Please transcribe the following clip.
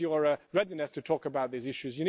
Where is your readiness to talk about these issues?